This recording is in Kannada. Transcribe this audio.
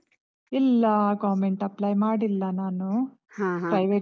ಇಲ್ಲಾ, government apply ಮಾಡಿಲ್ಲ ನಾನು. ಹಾ ಹಾ. private .